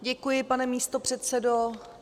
Děkuji, pane místopředsedo.